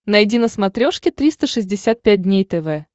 найди на смотрешке триста шестьдесят пять дней тв